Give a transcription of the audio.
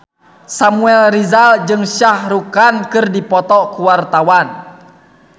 Samuel Rizal jeung Shah Rukh Khan keur dipoto ku wartawan